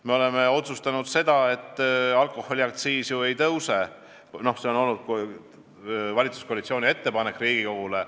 Me oleme otsustanud, et alkoholiaktsiis ei tõuse, see on olnud valitsuskoalitsiooni ettepanek Riigikogule.